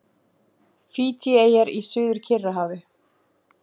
Fídjieyjar í Suður-Kyrrahafi.